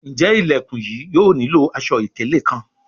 Njé Ilẹkùn yìí yóò nilo aṣọ-ikele kán?